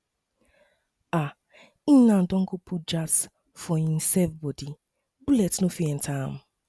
um e um don go put jazz for him bodi bullet no fit no fit enter am